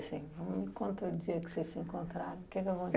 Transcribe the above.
Assim, me conta o dia que vocês se encontraram, que que